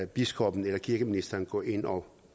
biskoppen eller kirkeministeren gå ind og